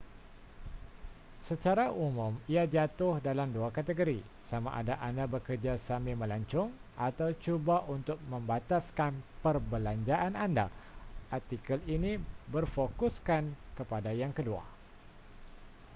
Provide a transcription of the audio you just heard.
secara umum ia jatuh dalam dua kategori sama ada anda bekerja sambil melancong atau cuba untuk membataskan perbelanjaan anda artikel ini berfokuskan kepada yang kedua